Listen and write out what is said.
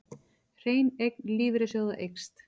Hrein eign lífeyrissjóða eykst